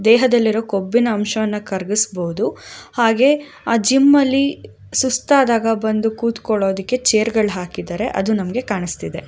ದೇಹದಲ್ಲಿರುವ ಕೊಬ್ಬಿನ ಅಂಶವನ್ನ ಕರಗಿಸಬಹುದು ಹಾಗೆ ಆ ಜಿಮ್ ಅಲ್ಲಿ ಸುಸ್ತಾದಾಗ ಬಂದು ಕುತ್ಕೊಳ್ಳೋದಿಕ್ಕೆ ಚೈರ್ಗ ಳ್ ಹಾಕಿದ್ದಾರೆ ಅದು ನಮಗೆ ಕಾಣಿಸ್ತಿದೆ.